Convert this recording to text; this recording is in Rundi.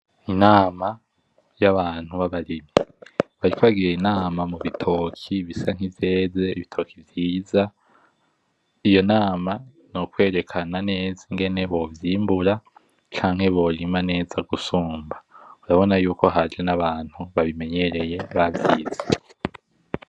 Inama yabantu babarimyi bariko bagira inama mubitoki bisa nkivyeze, ibitoki vyiza. Iyonama nokwerekana neza ngene bovyimbura canke borima neza gusumba urabona ko haje nabantu babimenyereye bavyize.